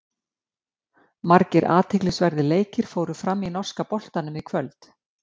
Margir athyglisverðir leikir fóru fram í norska boltanum í kvöld.